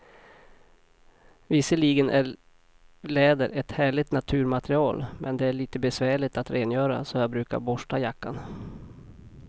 Visserligen är läder ett härligt naturmaterial, men det är lite besvärligt att rengöra, så jag brukar borsta jackan.